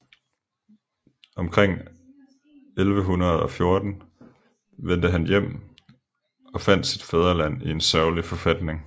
Omkring 1114 vendte han hjem og fandt sit fædreland i en sørgelig forfatning